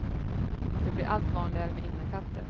Det blir allt vanligare med innekatter.